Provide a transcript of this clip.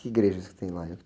Que igrejas que tem lá?